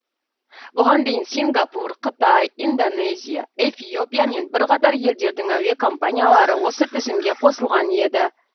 бұған дейін сингапур қытай индонезия эфиопия мен бірқатар елдердің әуе компаниялары осы тізімге қосылған еді